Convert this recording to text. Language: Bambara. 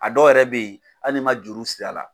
A dɔw yɛrɛ bɛ ye hali n'i man juru siri a la.